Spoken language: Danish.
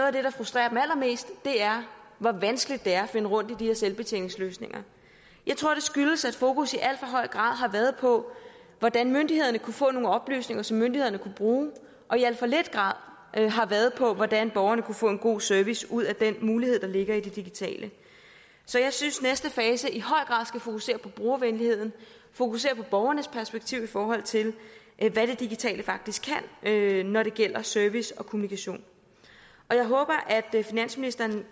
af det der frustrerer allermest er hvor vanskeligt det er at finde rundt i de her selvbetjeningsløsninger jeg tror det skyldes at fokus i alt for høj grad har været på hvordan myndighederne kunne få nogle oplysninger som myndighederne kunne bruge og i alt for lidt grad har været på hvordan borgerne kunne få en god service ud af den mulighed der ligger i det digitale så jeg synes at næste fase i høj grad skal fokusere på brugervenlighed og fokusere på borgerens perspektiv i forhold til hvad det digitale faktisk kan når det gælder service og kommunikation jeg håber at finansministeren vil